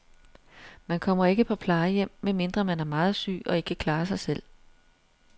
Man kommer ikke på plejehjem, medmindre man er meget syg og ikke kan klare sig selv.